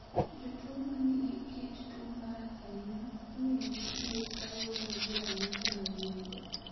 Jotuwo ma nigi kit tuo marach ahinya, imiyogi thieth kaluwore gi ranyisi ma gin-go.